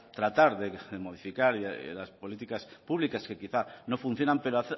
tratar de modificar las políticas públicas que quizá no funcionan pero